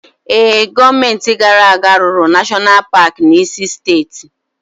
Ee, gọọmenti gara aga rụrụ Nashọnal Paki n'isi steeti.